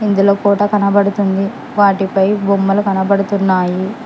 ఇందులో కోట కనపడుతుంది వాటిపై బొమ్మలు కనబడుతున్నాయి.